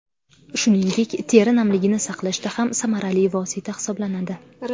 Shuningdek, teri namligini saqlashda ham samarali vosita hisoblanadi.